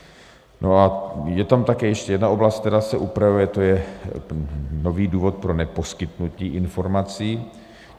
Je tam také ještě jedna oblast, která se upravuje, to je nový důvod pro neposkytnutí informací.